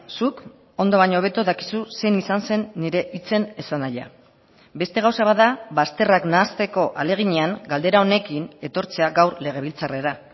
zuk ondo baino hobeto dakizu zein izan zen nire hitzen esanahia beste gauza bat da bazterrak nahasteko ahaleginean galdera honekin etortzea gaur legebiltzarrera